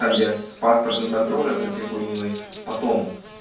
там где с паспортным контролем со всей хуйней потом